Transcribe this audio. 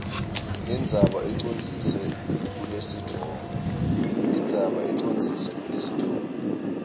indzaba ucondzise kulesitfombe